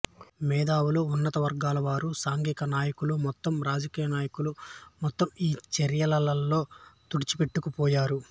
మేధావులు ఉన్నతవర్గాలవారు సాంఘకనాయకులు మొత్తం రాజకీయనాయకులు మొత్తం ఈ చర్యలలో తుడిచిపెట్టుకు పోయారు